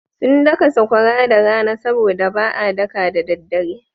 Sun daka sakwara da rana sabo da ba a daka da daddare.